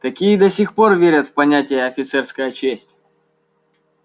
такие до сих пор верят в понятие офицерская честь